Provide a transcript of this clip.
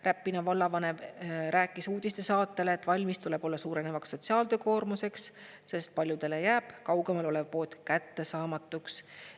Räpina vallavanem rääkis uudistesaatele, et valmis tuleb olla suurenevaks sotsiaaltöökoormuseks, sest paljudele jääb kaugemal olev pood kättesaamatuks.